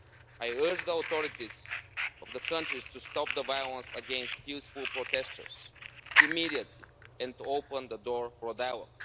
I urge the authorities of these countries to stop the violence against peaceful protesters immediately, and to open the door to dialogue.